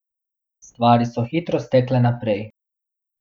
Stvari so hitro stekle naprej.